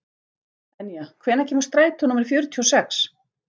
Enja, hvenær kemur strætó númer fjörutíu og sex?